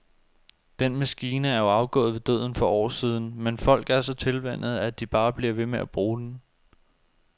Den maskine er jo afgået ved døden for år siden, men folk er så tilvænnet, at de bare bliver ved med at bruge den.